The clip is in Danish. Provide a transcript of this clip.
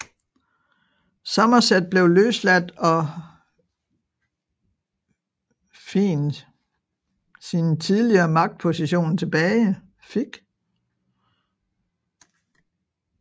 Somerset blev løsladt og fin sin tidligere magtposition tilbage